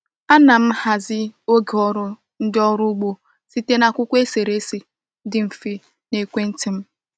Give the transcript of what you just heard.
A na m hazie oge ọrụ ndị ọrụ ugbo site na akwụkwọ eserese dị mfe na ekwentị m.